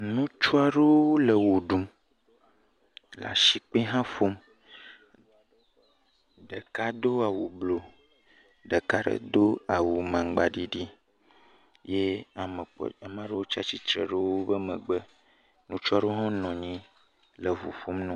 Ŋutsu aɖewo le wɔ ɖum le asikpe hã ƒom, ɖeka do awu blu, ɖeka ɖe do awu magba ɖiɖi ye ame kpɔ tɔ, amea ɖe yiwo tsatsitre ɖe wo megbe, ŋutsu aɖewo hã nɔ anyi le ŋo ƒom na…